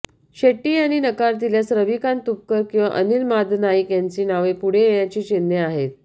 शेट्टी यांनी नकार दिल्यास रविकांत तुपकर किंवा अनिल मादनाईक यांची नावे पुढे येण्याची चिन्हे आहेत